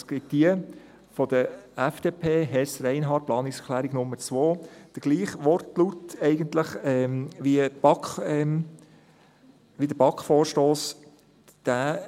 Es gibt jene der FDP, Hess/Reinhard, also die Planungserklärung Nummer 2, die eigentlich den gleichen Wortlaut wie der BaK-Vorstoss hat.